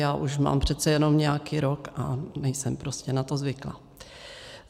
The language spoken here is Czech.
Já už mám přece jenom nějaký rok a nejsem prostě na to zvyklá.